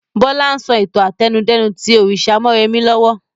Bọlá ń sọ ìtàn àtẹnudẹ́nu tí òrìṣà mọ́remí lọ́wọ́